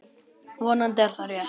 Vonandi er það rétt.